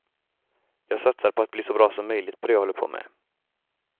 Jag satsar på att bli så bra som möjligt på det jag håller på med.